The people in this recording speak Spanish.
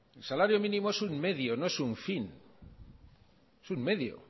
el salario mínimo es un medio no es un fin es un medio